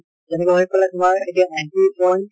যেনেকে হৈ পালে তোমাৰ এতিয়া ninety point